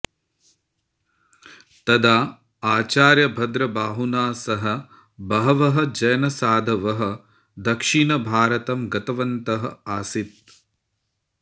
तदा आचार्यभद्रबाहुना सह बहवः जैनसाधवः दक्षिणभारतं गतवन्तः आसीत्